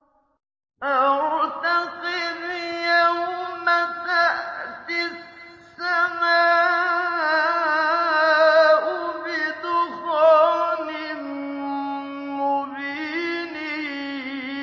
فَارْتَقِبْ يَوْمَ تَأْتِي السَّمَاءُ بِدُخَانٍ مُّبِينٍ